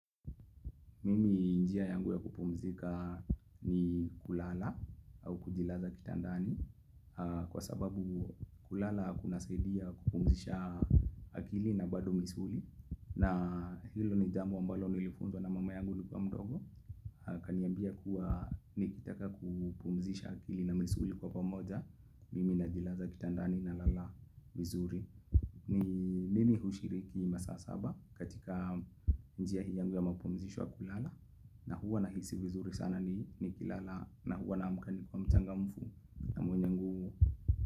Mimi njia yangu ya kupumzika ni kulala au kujilaza kitandani kwa sababu kulala kuna saidia kupumzisha akili na bado misuli na hilo jambo ambalo nilifunzwa na mama yangu nikiwa mdogo. Kaniambia kuwa nikitaka kupumzisha akili na misuli kwa pamoja mimi najilaza kitandani nalala vizuri mimi hushiriki masaa saba katika njia hii yangu ya mapumzisho ya kulala na huwa nahisi vizuri sana ni nikilala na huwa na mka nikiwa mchangamfu na mwenye nguvu.